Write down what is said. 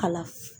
Kalan